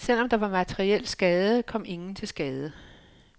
Selvom der var materiel skade, kom ingen til skade.